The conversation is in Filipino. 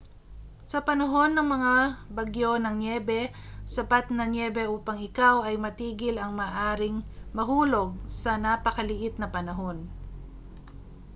sa panahon ng mga bagyo ng nyebe sapat na nyebe upang ikaw ay matigil ang maaaring mahulog sa napakaliit na panahon